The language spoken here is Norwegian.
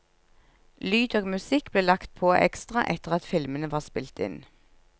Lyd og musikk ble lagt på ekstra etter at filmene var spilt inn.